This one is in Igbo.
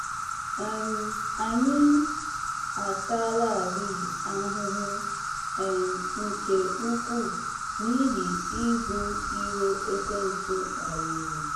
um Anyị ataalarị ahụhụ um nke ukwuu n’ihi ibu iro ekwensu kpaliri.